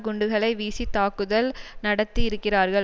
குண்டுகளை வீசி தாக்குதல் நடத்தியிருக்கிறார்கள்